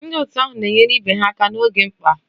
Ndị otu ahụ na-enyere ibe ha aka n'oge mkpa